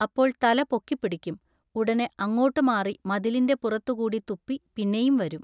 അപ്പോൾ തല പൊക്കിപ്പിടിക്കും. ഉടനെ അങ്ങോട്ടു മാറി മതിലിന്റെ പുറത്തു കൂടി തുപ്പി പിന്നെയും വരും.